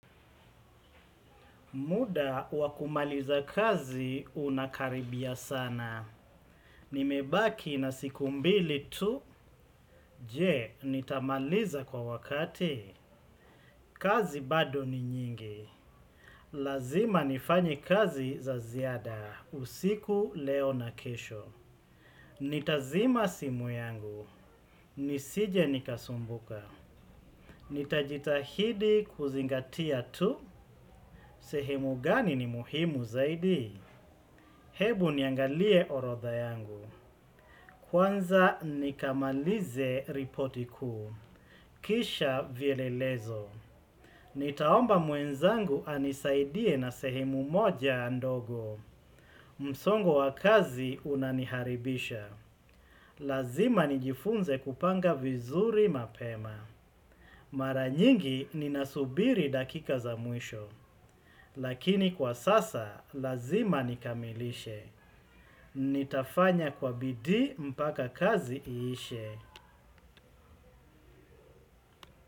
Muda wa kumaliza kazi unakaribia sana. Nimebaki na siku mbili tu. Je, nitamaliza kwa wakati. Kazi bado ni nyingi. Lazima nifanye kazi za ziada. Usiku leo na kesho. Nitazima simu yangu. Nisije nikasumbuka. Nitajitahidi kuzingatia tu. Sehemu gani ni muhimu zaidi. Ebu niangalie orodha yangu. Kwanza nikamalize ripoti kuu. Kisha vielelezo. Nitaomba mwenzangu anisaidie na sehemu moja ndogo. Msongo wa kazi unaniharibisha. Lazima nijifunze kupanga vizuri mapema. Mara nyingi ninasubiri dakika za mwisho. Lakini kwa sasa lazima nikamilishe, nitafanya kwa bidii mpaka kazi iishe.